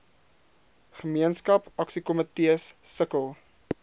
gemeenskap aksiekomitees sukkel